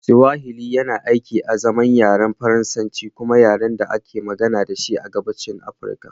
Swahili yana aiki azaman yaren Faransanci kuma yaren da ake magana da shi a Gabashin Afirka